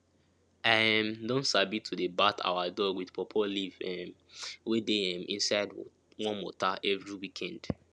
i um don sabi to dey bath our dog with pawpaw leave um wey dey um inside warm water every weekend